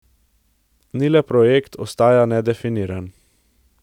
Ni le projekt, ostaja nedefiniran.